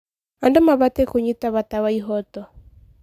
Andũ mabatiĩ kũnyita bata wa ihooto.